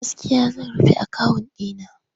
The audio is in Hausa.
Gaskiya zan rufe akawun ɗi na.